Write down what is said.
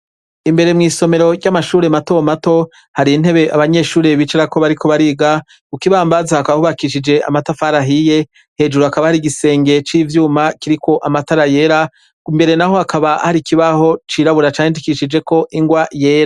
Imbere mwisomero rya mashure mato mato hari intebe abanyeshure bicarako bariko bariga kukibambazi hakaba hubakishije amatafari ahiye hejuru hakaba hari igisenge civyuma kiriko amatara yera mbere naho hakaba hari ikibaho cirabura candishije ingwa yera.